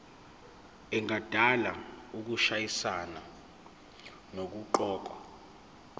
engadala ukushayisana nokuqokwa